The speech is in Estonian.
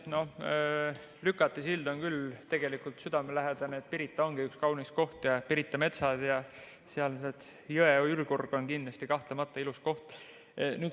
No Lükati sild on küll tegelikult südamelähedane, Pirita ongi üks kaunis koht ja Pirita metsad ja sealne jõe ürgorg on kahtlemata ilus koht.